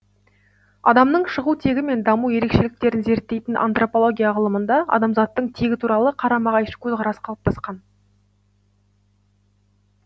адамның шығу тегі мен даму ерекшеліктерін зерттейтін антропология ғылымында адамзаттың тегі туралы қарама қайшы көзқарас қалыптасқан